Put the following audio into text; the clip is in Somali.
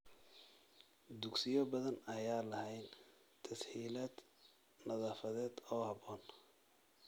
Dugsiyo badan ayaan lahayn tas-hiilaad nadaafadeed oo habboon.